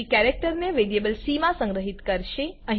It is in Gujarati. પછી તે કેરેક્ટરને વેરીએબલ સી મા સંગ્રહિત કરશે